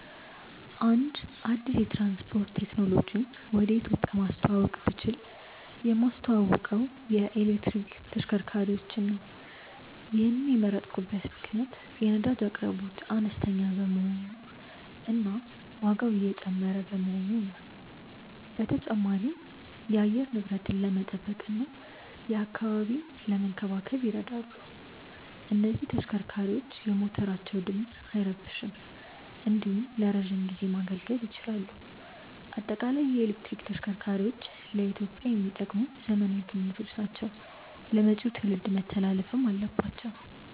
አንድ አዲስ የትራንስፖርት ቴክኖሎጂን ወደ ኢትዮጵያ ማስተዋወቅ ብችል የማስተዋውቀው የኤሌክትሪክ ተሽከርካሪዎችን ነው። ይሔንን የመረጥኩበት ምክንያት የነዳጅ አቅርቦት አነስተኛ በመሆኑ እና ዋጋው እየጨመረ በመሆኑ ነው። በተጨማሪም የአየር ንብረትን ለመጠበቅ እና አካባቢን ለመንከባከብ ይረዳሉ። እነዚህ ተሽከርካሪዎች የሞተራቸው ድምፅ አይረብሽም እንዲሁም ለረዥም ጊዜ ማገልገል ይችላሉ። በአጠቃላይ የኤሌክትሪክ ተሽከርካሪዎች ለኢትዮጵያ የሚጠቅሙ ዘመናዊ ግኝቶች ናቸው ለመጪው ትውልድ መተላለፍም አለባቸው።